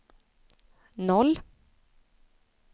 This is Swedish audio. noll